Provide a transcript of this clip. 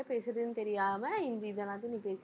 என்ன பேசுறதுன்னு தெரியாம, இந்த இதெல்லாத்தையும் நீ பேசி~